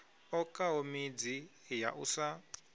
okaho midzi ya u sa